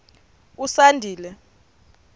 usandile